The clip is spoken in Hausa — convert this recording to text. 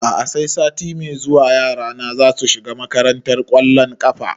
A'a sai sati mai zuwa yara na zasu shiga makantar ƙwallon ƙafa